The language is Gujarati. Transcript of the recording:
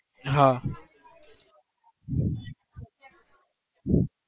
હા